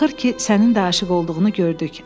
Axır ki, sənin də aşiq olduğunu gördük.